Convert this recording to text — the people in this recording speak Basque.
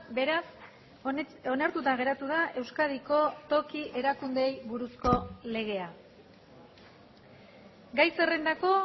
beraz onartuta geratu da euskadiko toki erakundeei buruzko legea gai zerrendako